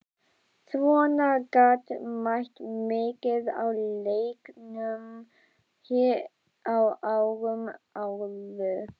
Svona gat mætt mikið á læknunum hér á árum áður.